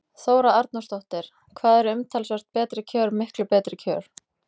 Þóra Arnórsdóttir: Hvað eru umtalsvert betri kjör miklu betri kjör?